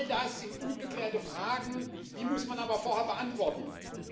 All das sind ungeklärte Fragen, die man aber vorher beantworten muss.